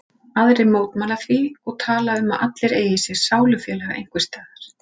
Aðrir mótmæla því og tala um að allir eigi sér sálufélaga einhvers staðar.